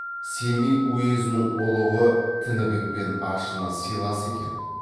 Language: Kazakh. семей уезінің ұлығы тінібекпен ашына сыйлас екен